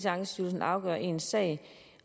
ankestyrelsen afgør ens sag